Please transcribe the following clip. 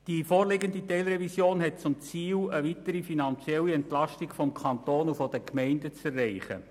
Die vorliegende Teilrevision hat zum Ziel, eine weitere finanzielle Entlastung des Kantons und der Gemeinden zu erreichen.